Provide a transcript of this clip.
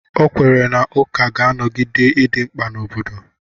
Ọ kwere na ụka ga-anọgide idị mkpa n'obodo.